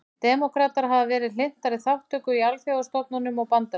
Demókratar hafa verið hlynntari þátttöku í alþjóðastofnunum og bandalögum.